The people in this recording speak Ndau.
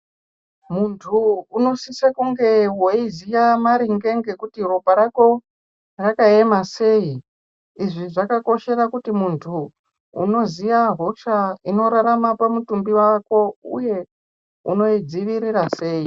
Muntu unosise kunge eiziya maringe ngekuti ropa rako rakaema sei. Izvi zvakakoshera kuti muntu unoziya hosha inorarama pamutumbi wako uye unoidzivirira sei.